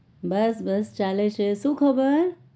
બસ બસ ચાલે છે શું ખબર?